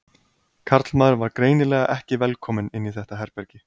Karlmaður var greinilega ekki velkominn inn í þetta herbergi.